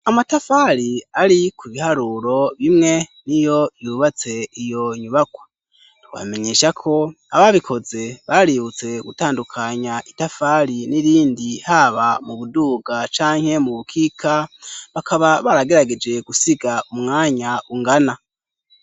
Amatafari ari ku biharuro bimwe niyo vyubatse iyo nyubakwa, twobamenyesha ko ababikoze, baributse gutandukanya itafari n'irindi, haba mu buduga canke mu bukika, bakaba baragerageje gusiga umwanya ungana.